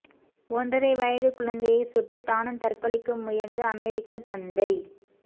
ஒன்றரை வயது குழந்தையைச் சுட்டு தானும் தற்கொலைக்கு முயன்ற அமெரிக்கத் தந்தை